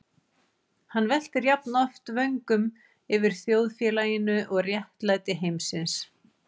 Hann veltir jafnoft vöngum yfir þjóðfélaginu og réttlæti heimsins.